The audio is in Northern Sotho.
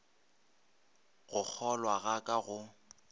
go kgolwa ga ka go